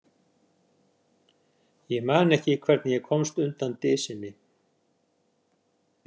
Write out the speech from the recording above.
Ég man ekki hvernig ég komst undan dysinni.